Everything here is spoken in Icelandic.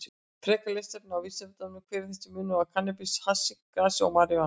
Frekara lesefni á Vísindavefnum: Hver er munurinn á kannabis, hassi, grasi og marijúana?